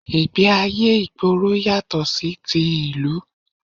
Ìgbẹ́ ayé ìgboro yàtọ̀ sí ti ìlú